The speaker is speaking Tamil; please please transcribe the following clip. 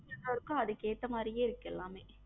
எல்லாருக்கும் அதுக்கு எத்த மாறி இருக்கு எல்லாமே